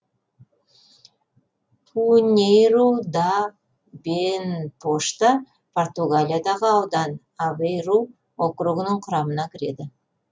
пиньейру да бенпошта португалиядағы аудан авейру округінің құрамына кіреді